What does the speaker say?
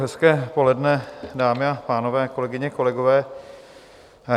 Hezké poledne, dámy a pánové, kolegyně, kolegové.